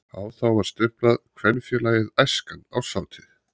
Á þá var stimplað: KVENFÉLAGIÐ ÆSKAN ÁRSHÁTÍÐ.